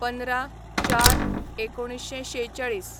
१५/०४/१९४६